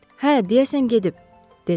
Hə, deyəsən gedib, - dedi.